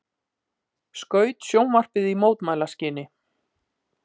Skaut sjónvarpið í mótmælaskyni